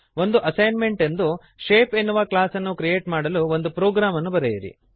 ಒಂದು ಅಸೈನ್ಮೆಂಟ್ ಎಂದು ಶೇಪ್ ಎನ್ನುವ ಕ್ಲಾಸನ್ನು ಕ್ರಿಯೇಟ್ ಮಾಡಲು ಒಂದು ಪ್ರೊಗ್ರಾಮನ್ನು ಬರೆಯಿರಿ